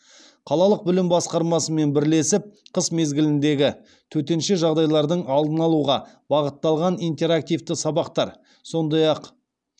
қалалық білім басқармасымен бірлесіп қыс мезгіліндегі төтенше жағдайлардың алдын алуға бағытталған интерактивті сабақтар сондай ақ